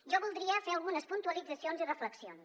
jo voldria fer algunes puntualitzacions i reflexions